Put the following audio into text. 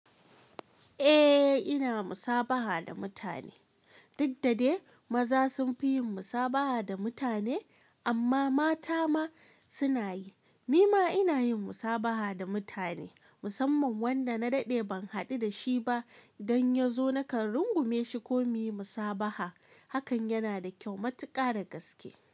Eh, ina musabaha da mutane. Duk dade maza sun fi yin musabaha da mutane amma mata ma suna yi. Ni ma ina yin musabaha da mutane musamman wanda na daɗe ban haɗu da shi ba don yazo nakan rungume shi ko muyi musabaha. Hakan yana da kyau, matuƙa da gaske.